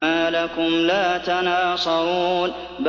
مَا لَكُمْ لَا تَنَاصَرُونَ